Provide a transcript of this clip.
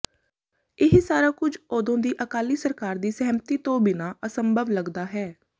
ਇਹ ਸਾਰਾ ਕੁਝ ਉਦੋਂ ਦੀ ਅਕਾਲੀ ਸਰਕਾਰ ਦੀ ਸਹਿਮਤੀ ਤੋਂ ਬਿਨਾ ਅਸੰਭਵ ਲੱਗਦਾ ਹੈ